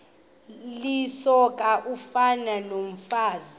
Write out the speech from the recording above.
lisoka ufani nokomfazi